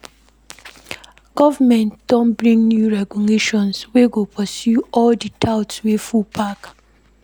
Government don bring new regulations wey go pursue all di touts wey full park.